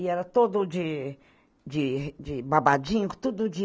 E era todo de de de babadinho, tudo de...